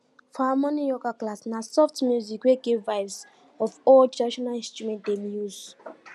for our morning yoga class na soft music wey get vibes of our old traditional instrument dem use